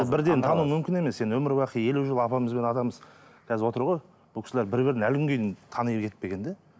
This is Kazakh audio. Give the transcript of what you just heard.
бірден тану мүмкін емес енді өмірбақи елу жыл апамыз бен атамыз қазір отыр ғой бұл кісілер бір бірін әлі күнге дейін тани кетпеген де